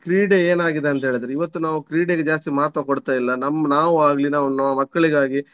ಕ್ರೀಡೆ ಏನಾಗಿದೆ ಅಂತ್ಹೇಳಿದ್ರೇ ಇವತ್ತು ನಾವು ಕ್ರೀಡೆಗೆ ಜಾಸ್ತಿ ಮಹತ್ವ ಕೊಡ್ತಾ ಇಲ್ಲ ನಮ್~ ನಾವಾಗ್ಲಿ ನಾವ್~ ನಮ್ಮ ಮಕ್ಕಳಿಗಾಗಿ.